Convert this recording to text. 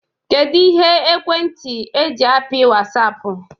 Kedu Ihe ekwentị eji apị Wasiapụ?